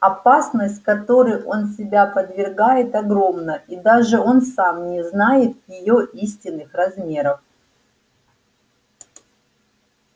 опасность которой он себя подвергает огромна и даже он сам не знает её истинных размеров